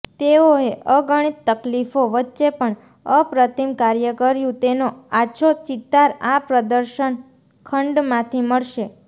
તેઓએ અગણિત તકલીફો વચ્ચે પણ અપ્રતિમ કાર્ય કર્યુ તેનો આછો ચિતાર આ પ્રર્દશન ખંડમાંથી મળશે